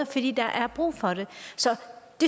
fordi der er brug for det så